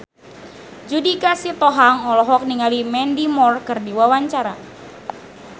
Judika Sitohang olohok ningali Mandy Moore keur diwawancara